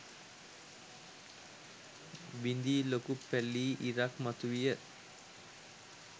බිඳී ලොකු පැලී ඉරක් මතුවිය.